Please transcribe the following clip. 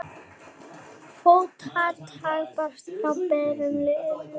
Fótatak barst frá berum iljum.